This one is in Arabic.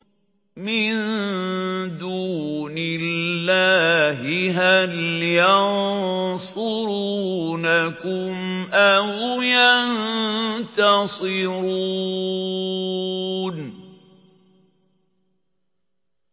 مِن دُونِ اللَّهِ هَلْ يَنصُرُونَكُمْ أَوْ يَنتَصِرُونَ